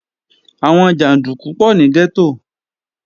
Àwọn jàndúkú pọ̀ ní gẹ́tò